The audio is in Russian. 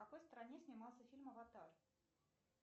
в какой стране снимался фильм аватар